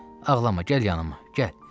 Ağlama, gəl yanıma, gəl.